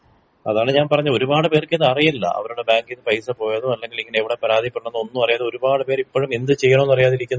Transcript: അതാണ് ഞാൻ പറഞ്ഞെ ഒരുപാട് പേർക്ക് ഇതറിയില്ല അവരുടെ ബാങ്ക്ന്ന് പൈസ പോയതും അല്ലെങ്കിങ്ങനെ എവിടെ പരാതി പെടണെമെന്നും ഒന്നുമറിയാതെ ഒരുപാട് പേര് ഇപ്പോഴും എന്ത് ചെയ്യനമെന്നറിയാതെ ഇരിക്കുന്നുണ്ട്.